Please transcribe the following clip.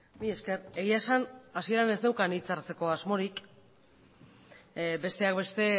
mila esker egia esan hasieran ez neukan hitza hartzeko asmorik besteak beste